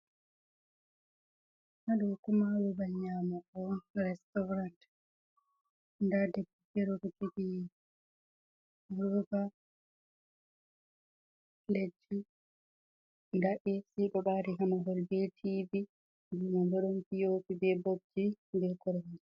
Ha ɗo kuma babal nyamu go on restaurant nda debbo fere ɗo jogi roba, platji, nda ac ɗo ɓari ha mahol be tv mahol man ɓo ɗon piyopi, be bobji be koromje.